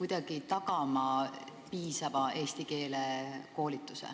kuidagi tagada piisava eesti keele koolituse?